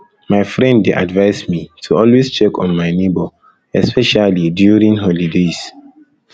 my friend dey advise me to always check on my neighbor especially during holidays